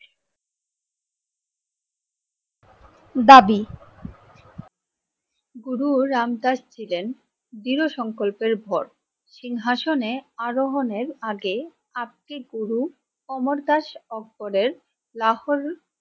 দাবি গুরু রামদাস ছিলেন দৃঢ সংকল্পের ভর। সিংহাসনের আরোহনের আগে গুরু অমরদাস লাহোর